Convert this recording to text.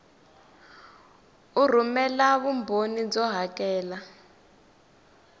u rhumela vumbhoni byo hakela